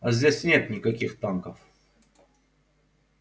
а здесь нет никаких танков